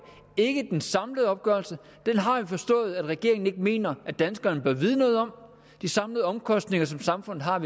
det er ikke den samlede opgørelse den har jeg forstået at regeringen ikke mener at danskerne bør vide noget om de samlede omkostninger som samfundet har